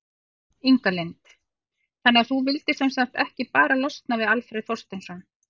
Inga Lind: Þannig að þú vildir sem sagt ekki bara losna við Alfreð Þorsteinsson?